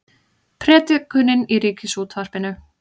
Predikunin í Ríkisútvarpinu